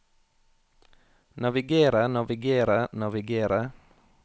navigere navigere navigere